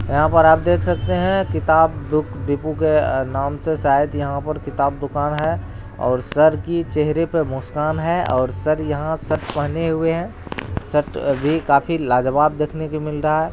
यहाँ पर आप देख सकते हैं किताब बुक डिपो के नाम से शायद किताब दुकान है और सर की चेहरे पर मुस्कान है और सर यहाँ शर्ट पहने हुए हैं शर्ट भी लाजवाब दिखने को मिल रहा है।